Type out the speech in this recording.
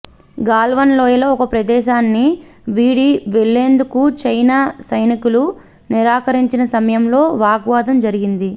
గాల్వన్ లోయలో ఒక ప్రదేశాన్ని వీడి వెళ్లేందుకు చైనా సైనికులు నిరాకరించిన సమయంలో వాగ్వాదం జరిగింది